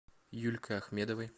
юлькой ахмедовой